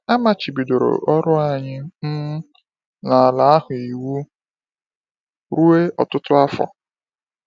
A machibidoro ọrụ anyị um n’ala ahụ iwu ruo ọtụtụ afọ.